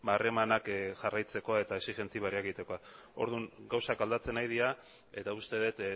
harremanak jarraitzeko eta exijentzi berriak egiteko orduan gauzak aldatzen ari dira eta uste dut